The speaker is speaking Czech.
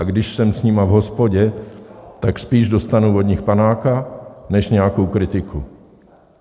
A když jsem s nimi v hospodě, tak spíš dostanu od nich panáka než nějakou kritiku.